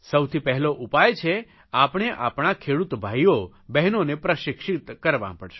સૌથી પહેલો ઉપાય છે આપણે આપણા ખેડૂત ભાઇઓ બહેનોને પ્રશિક્ષિત કરવાં પડશે